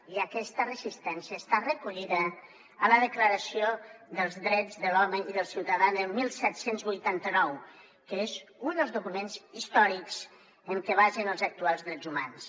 i aquesta resistència està recollida a la declaració dels drets de l’home i del ciutadà del disset vuitanta nou que és un dels documents històrics en què es basen els actuals drets humans